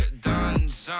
saman